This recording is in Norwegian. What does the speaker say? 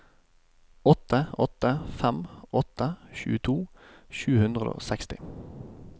åtte åtte fem åtte tjueto sju hundre og seksti